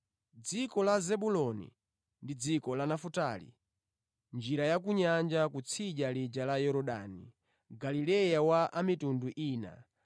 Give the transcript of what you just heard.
“Dziko la Zebuloni ndi dziko la Nafutali, njira ya ku nyanja, kutsidya lija la Yorodani, Galileya wa anthu a mitundu ina,